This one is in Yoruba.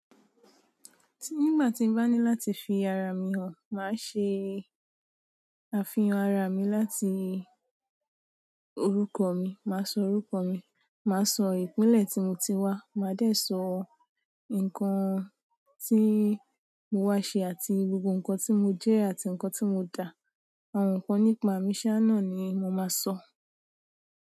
Nígbà tí n bá ní láti fi ara mi hàn, màá ṣe àfihàn ara mi láti orúkọ mi, màá sọ orúkọ mi, màá sọ ìpínlẹ̀ tí mo ti wá, màá dé sọ ǹkan tí mo wá ṣe àti gbogbo ǹkan tí mo jẹ́ àti ǹkan tí mo dá, àwọn ǹkan nípa mi sá nà ni mo máa sọ.